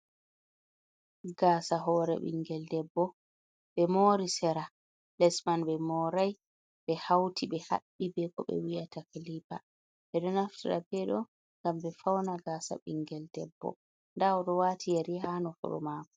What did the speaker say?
Gasa hore ɓingel debbo, be mori sera les man be morai be hauti be habbi be ko be wiyata kalipa, ɓe do naftira be do ngam be fauna gasa ɓingel debbo dawodo wati yari hano furu mako.